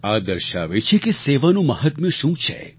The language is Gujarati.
આ દર્શાવે છે કે સેવાનું મહાત્મ્ય શું છે